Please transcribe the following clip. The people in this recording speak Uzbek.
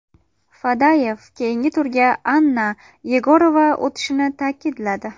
Fadeyev keyingi turga Anna Yegorova o‘tishini ta’kidladi.